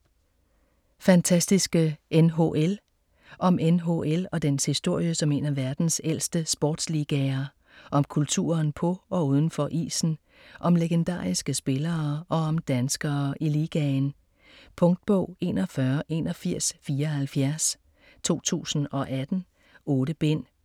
Fantastiske NHL Om NHL og dens historie som en af verdens ældste sportsligaer. Om kulturen på og udenfor isen, om legendariske spillere og om danskere i ligaen. Punktbog 418174 2018. 8 bind.